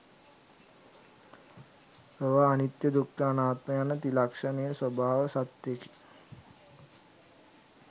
ලොව අනිත්‍ය දුක්ඛ අනාත්ම යන ත්‍රිලක්‍ෂණ ස්වභාව සත්‍යයකි.